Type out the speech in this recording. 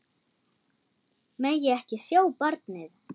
Megi ekki sjá barnið.